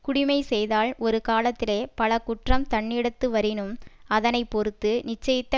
குடிமை செய்தால் ஒரு காலத்திலே பல குற்றம் தன்னிடத்துவரினும் அதனை பொறுத்து நிச்சயித்த